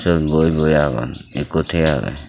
syot boi boi agon ikko thiye agey.